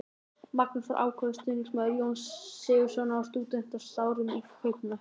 Magnús var ákafur stuðningsmaður Jóns Sigurðssonar á stúdentsárum í Kaupmannahöfn.